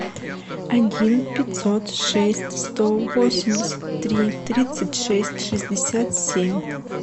один пятьсот шесть сто восемьдесят три тридцать шесть шестьдесят семь